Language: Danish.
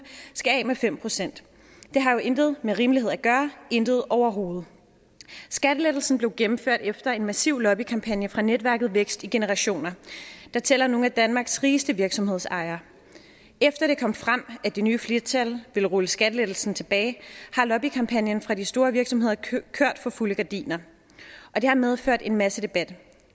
skal af med fem procent det har jo intet med rimelighed at gøre intet overhovedet skattelettelsen blev gennemført efter en massiv lobbykampagne fra netværket vækst i generationer der tæller nogle af danmarks rigeste virksomhedsejere efter det kom frem at det nye flertal ville rulle skattelettelsen tilbage har lobbykampagnen fra de store virksomheder kørt for fulde gardiner og det har medført en masse debat